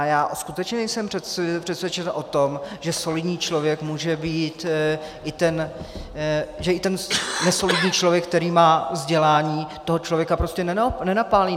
A já skutečně nejsem přesvědčen o tom, že solidní člověk může být i ten... že i ten nesolidní člověk, který má vzdělání, toho člověka prostě nenapálí.